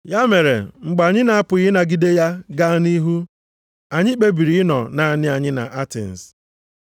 Ya mere, mgbe anyị na-apụghị ịnagide ya gaa nʼihu, anyị kpebiri ịnọ naanị anyị nʼAtens.